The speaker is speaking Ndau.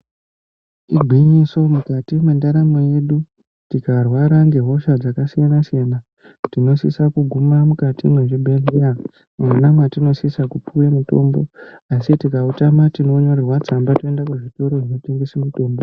Igwinyiso mukati mwendaramo yedu tikarwara ngehosha dzakasiyana siyana tinosisa kuguma mukati mwezvibhedhleya mwona mwatinosisa kupuwa mitombo asi tikautama tinonyorerwa tsamba toenda kuzvitoro zvotengesa mitombo.